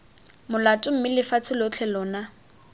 molato mme lefatshe lotlhe lona